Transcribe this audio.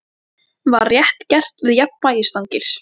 Var rétt gert við jafnvægisstangir?